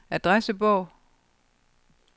adressebog